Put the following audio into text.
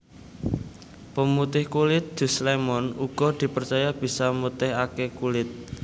Pemutih kulit Jus lémon uga dipercaya bisa mutihaké kulit